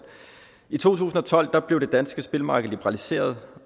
i to tusind og tolv blev det danske spillemarked liberaliseret